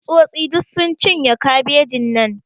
Tsutsotsi duk sun cinye kabejin nan.